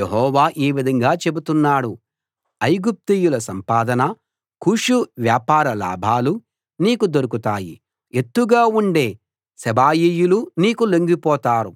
యెహోవా ఈ విధంగా చెబుతున్నాడు ఐగుప్తీయుల సంపాదన కూషు వ్యాపార లాభాలు నీకు దొరుకుతాయి ఎత్తుగా ఉండే సెబాయీయులు నీకు లొంగిపోతారు